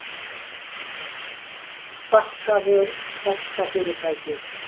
Bakkavör stærsta fyrirtækið